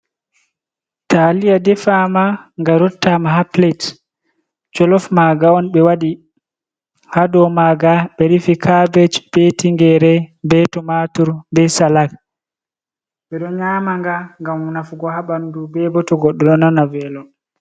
Taliya defama nga rottama haa pilat jolof maanga on ɓe waɗi haa do maanga ɓe rufi kabeji, be tingere, be tumatur, be salak, ɓe ɗo nyama nga ngam nafugo haa ɓandu be ɓo to goɗɗo ɗo nana velo.